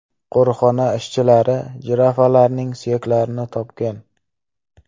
Qo‘riqxona ishchilari jirafalarning suyaklarini topgan.